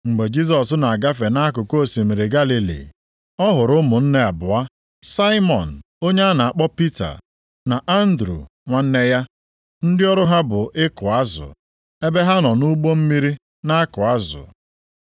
Ma mgbe Jisọs na-agafe nʼakụkụ osimiri Galili, ọ hụrụ ụmụnne abụọ, Saimọn onye a na-akpọ Pita, na Andru nwanne ya, ndị ọrụ ha bụ ịkụ azụ, ebe ha nọ nʼụgbọ mmiri na-akụ azụ.